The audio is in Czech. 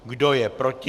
Kdo je proti?